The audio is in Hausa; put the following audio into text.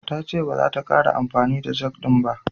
Ta ce baza ta ƙara amfani da jag ɗin ba.